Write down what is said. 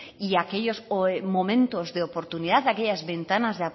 y aquellos momentos de oportunidad aquellas ventanas